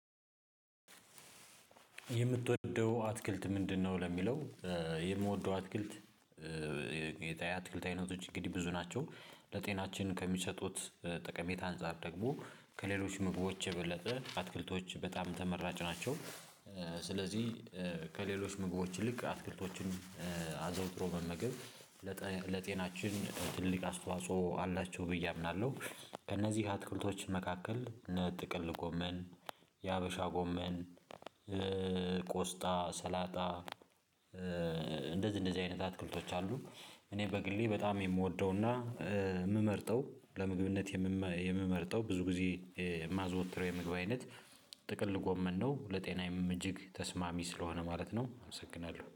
የምትወደው አትክልት ምንድነው? ለሚለው የምወደው አትክልት የአትክልት አይነቶች እንግዲህ ብዙ ናቸው። ለጤናችን ከሚሰጡት ጠቀሜታ አንፃር ደግሞ ከሌሎች ምግቦች የበለጠ አትክልቶች በጣም ተመራጭ ናቸው። ስለዚህ ከሌሎች ምግቦች ይልቅ አትክልቶችን አዘውትሮ መመገብ ለጤናችን ትልቅ አስተዋጽኦ አላቸው ብዬ አምናለሁ። ከእነዚህ አትክልቶች መካከል እነጥቅል ጎመን፣ የሀበሻ ጎመን፣ ቆስጣ፣ ሰላጣ እንደዚህ እንደዚህ አይነት አትክልቶች አሉ። እኔ በግሌ በጣም የምወደውና የምመርጠው ለምግብነት የምመርጠው ብዙ ጊዜ የማዘወትረው የምግብ አይነት ጥቅል ጎመን ነው። ለጤናዬም እጅግ ተስማሚ ስለሆነ ማለት ነው። አመሰግናለሁ።